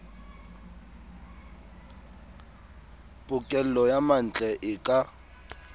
pokello ya mantle e ka